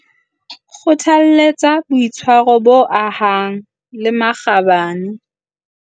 Kgothaletsa boitshwaro bo ahang le makgabane.